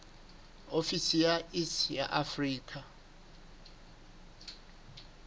ofisi ya iss ya afrika